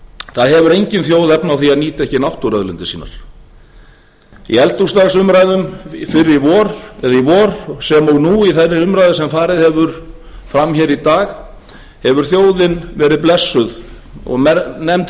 það hefur engin þjóð efni á því að nýta ekki náttúruauðlindir sínar í eldhúsdagsumræðum í vor sem og nú í þeirri umræðu sem farið hefur fram hér í dag hefur þjóðin verið blessuð og nefnd